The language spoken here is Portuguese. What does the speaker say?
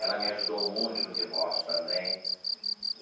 Ela me ajudou muito no divórcio também.